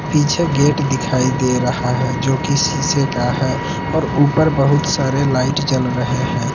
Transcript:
पीछे गेट दिखाई दे रहा है जो कि शीशे का है और ऊपर बहुत सारे लाइट जल रहे हैं।